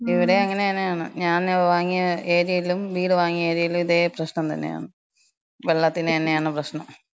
ഇവ്ടേം അങ്ങനെന്നാണ്. ഞാന് വാങ്ങിയ ഏര്യേലും, വീട് വാങ്ങിയ ഏര്യേലും ഇതേ പ്രശ്നം തന്നെയാണ്. വെള്ളത്തിനെന്നാണ് പ്രശ്നം.